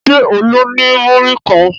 Ṣé Olú ní múrí kan?